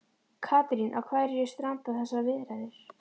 Katrín, á hverju stranda þessar viðræður?